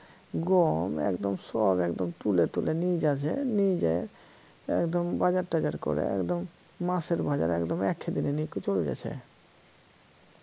গম একদম সব একদম তুলে তুলে নিয়ে যাচ্ছে নিয়ে যায়া একদম বাজার টাজার করে একদম মাসের বাজার একদম একদিনে নিয়ে চলে যাচ্ছে